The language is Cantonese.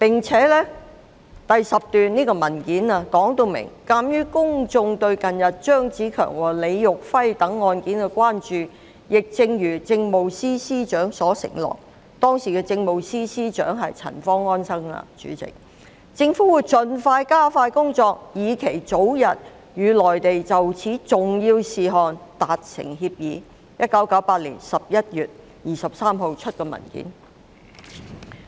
此外，文件第10段訂明："鑑於公眾對近日張子強和李育輝等案件的關注，亦正如政務司司長所承諾，"——代理主席，當時的政務司司長是陳方安生——"政府會盡力加快工作，以期早日與內地就此重要事項達成協議"，這是1998年11月23日發出的文件。